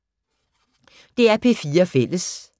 DR P4 Fælles